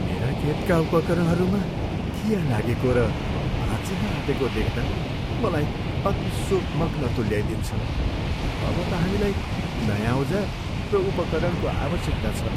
मेरा खेतका उपकरणहरूमा खिया लागेको र भाँचिन आँटेको देख्दा मलाई अति शोकमग्न तुल्याइदिन्छ। अब त हामीलाई नयाँ औजार र उपकरणको आवश्यकता छ।